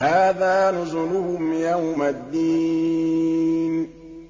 هَٰذَا نُزُلُهُمْ يَوْمَ الدِّينِ